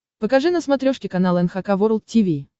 покажи на смотрешке канал эн эйч кей волд ти ви